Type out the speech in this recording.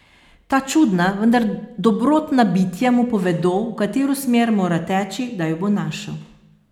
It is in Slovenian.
Ta čudna, vendar dobrotna bitja mu povedo, v katero smer mora teči, da jo bo našel.